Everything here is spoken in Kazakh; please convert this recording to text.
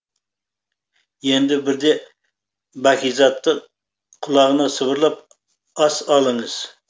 енді бірде бәкизаттың құлағына сыбырлап ас алыңыз